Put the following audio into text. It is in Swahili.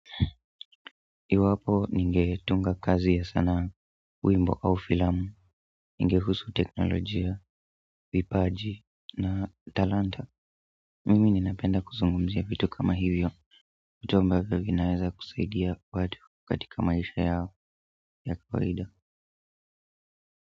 Iwapo ningetunga kazi ya sanaa wimbo au filamu, ingehusu teknolojia, vipaji na talanta. Mimi ninapenda kuzungumzia vitu kama hivyo. Vitu ambavyo vinaweza kusaidia watu katika maisha yao ya kawaida.